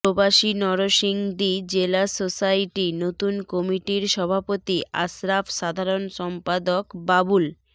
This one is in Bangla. প্রবাসী নরসিংদী জেলা সোসাইটি নতুন কমিটির সভাপতি আশরাফ সাধারণ সম্পাদক বাবুল